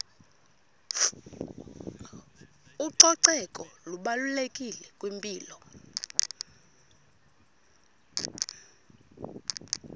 ucoceko lubalulekile kwimpilo